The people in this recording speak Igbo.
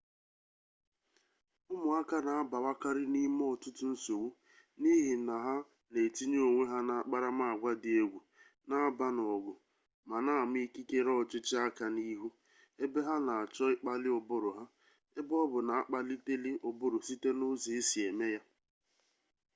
umuaka na abawakari nime otutu nsogbu nihi na ha na etinye onwe ha na akparamagwa di-egwu na aba n'ogu ma na-ama ikikere ochichi aka n'ihu ebe ha na acho ikpali uburu ha ebe-obu na akpaliteli uburu site na uzo esi eme ya